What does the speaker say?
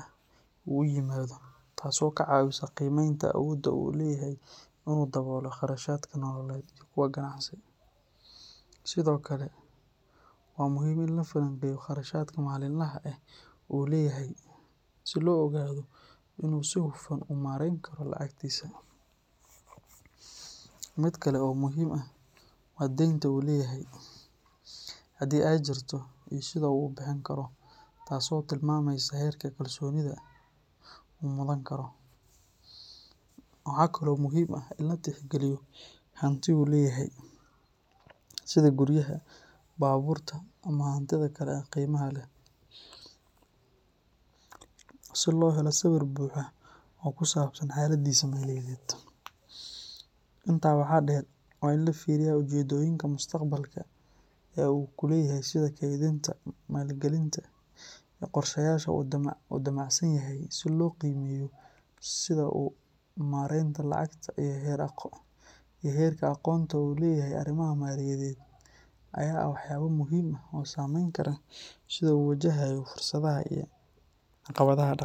ah ee uu u yimaado, taasoo ka caawisa qiimeynta awoodda uu u leeyahay in uu daboolo kharashaadka nololeed iyo kuwa ganacsi. Sidoo kale, waa muhiim in la falanqeeyo kharashaadka maalinlaha ah ee uu leeyahay si loo ogaado in uu si hufan u maarayn karo lacagtiisa. Mid kale oo muhiim ah waa deynta uu leeyahay, hadii ay jirto, iyo sida uu u bixin karo, taasoo tilmaamaysa heerka kalsoonida uu mudan karo. Waxa kale oo muhiim ah in la tixgeliyo hanti uu leeyahay sida guryaha, baabuurta ama hantida kale ee qiimaha leh, si loo helo sawir buuxa oo ku saabsan xaaladdiisa maaliyadeed. Intaa waxaa dheer, waa in la fiiriyaa ujeeddooyinka mustaqbalka ee uu leeyahay sida kaydinta, maalgelinta iyo qorshayaasha uu damacsan yahay, si loo qiimeeyo sida uu uga fekero kobcinta maaliyaddiisa. Ugu dambeyn, dhaqanka uu u leeyahay maaraynta lacagta iyo heerka aqoonta uu u leeyahay arrimaha maaliyadeed ayaa ah waxyaabo muhiim ah oo saameyn kara sida uu u wajahayo fursadaha iyo caqabadaha dhaqaale.